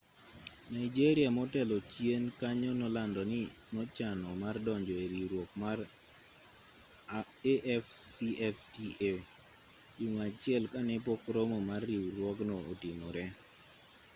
nigeria motelo chien kanyo nolando ni nochano mar donjo e riwruok mar afcfta juma achiel ka ne pok romo mar riwruogno otimore